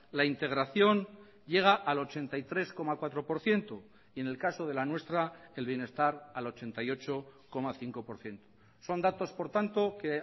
la integración llega al ochenta y tres coma cuatro por ciento y en el caso de la nuestra el bienestar al ochenta y ocho coma cinco por ciento son datos por tanto que